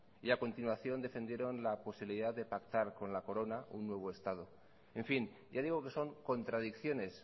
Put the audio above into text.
y a continuación defendieron la posibilidad de pactar con la corona un nuevo estado en fin ya digo que son contradicciones